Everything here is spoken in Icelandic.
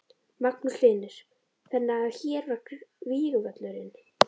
Magnús Hlynur: Þannig að hér var vígvöllurinn?